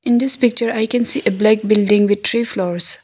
In this picture I can see a black building with three floors.